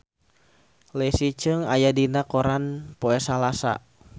Leslie Cheung aya dina koran poe Salasa